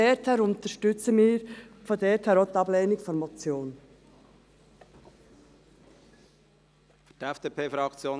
Daher unterstützen wir auch die Ablehnung der Motion.